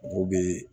Mɔgɔw bɛ